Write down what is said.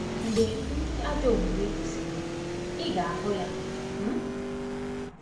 “ Mgbe ndị ajọ omume kwụsịrị, ị ga-ahụ ya. um ”